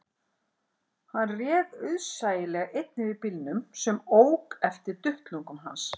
Hann réð auðsæilega einn yfir bílnum sem ók eftir duttlungum hans